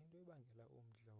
into ebangela umdla